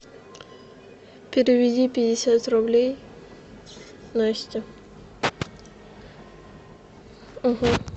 переведи пятьдесят рублей насте